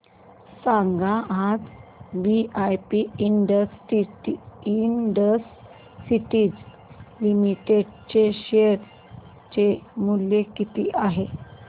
सांगा आज VIP industries limited चे शेअर चे मूल्य किती आहे